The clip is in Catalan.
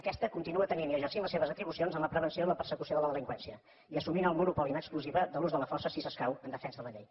aquesta continua tenint i exercint les seves atribucions en la prevenció i la persecució de la delinqüència i assumint el monopoli en exclusiva de l’ús de la força si escau en defensa de la llei